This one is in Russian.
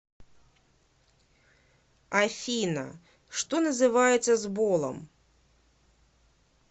афина что называется сболом